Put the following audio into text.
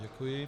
Děkuji.